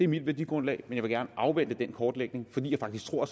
mit værdigrundlag men jeg vil gerne afvente den kortlægning fordi jeg faktisk tror at